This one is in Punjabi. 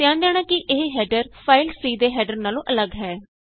ਧਿਆਨ ਦੇਣਾ ਕਿ ਇਹ ਹੈਡਰ ਫਾਈਲ C ਦੇ ਹੈਡਰ ਨਾਲੋਂ ਅੱਲਗ ਹੈ